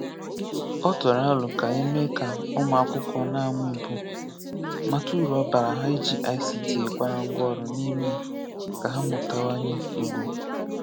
Ọ tụrụ àlò ka e mee ka ụmụ akwụkwọ na-amụ Ị̀gbò mata uru ọ bara ha iji ICT kwàrà ngwa ọrụ n’ime ka ha mụtawanye Ị̀gbò.